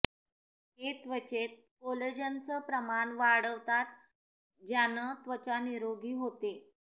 हे त्वचेत कोलेजनचं प्रमाण वाढवतात ज्यानं त्वचा निरोगी होते